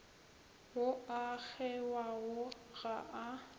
ao a kgewago ga a